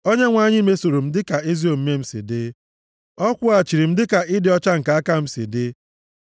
Onyenwe anyị mesoro m dịka ezi omume m si dị; ọ kwụghachiri m dịka ịdị ọcha nke aka m si dị.